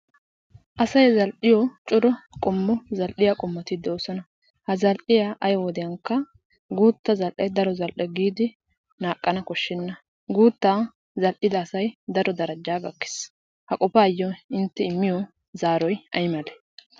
Asay zal"iyo. cora qommo zal"iya qommoti doosona. Ha zal"iya ay wodiyankka guutta zal"e daro zal"e giidi shaakkana koshshenna. Guuttaa zal"ida asay. daro darajjaa gakkees ha qofaayyo intte immiyo zaaroy ay malee?